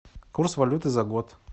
курс валюты за год